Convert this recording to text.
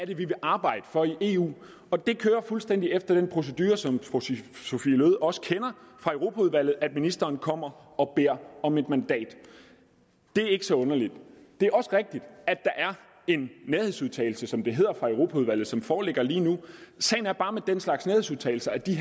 vi vil arbejde for i eu og det kører fuldstændig efter den procedure som fru sophie løhde også kender fra europaudvalget nemlig at ministeren kommer og beder om et mandat det er ikke så underligt det er også rigtigt at der er en nærhedsudtalelse som det hedder fra europaudvalget som foreligger lige nu sagen er bare med den slags nærhedsudtalelser at de